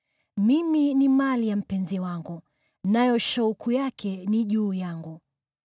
Mimi ni mali ya mpenzi wangu, nayo shauku yake ni juu yangu.